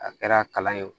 A kɛra kalan ye o